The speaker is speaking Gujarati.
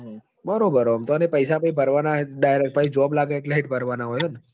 બરોબર હ ઓંમ તો પઇસા ભરવાના બાર job લાગ હેટ ભરવા નહોય